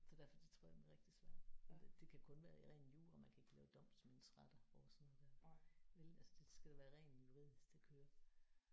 Så derfor det tror jeg bliver rigtig svært. Det det kan kun være i ren jura man kan ikke lave domsmandsretter over sådan noget der vel altså det skal det være ren juridisk det kører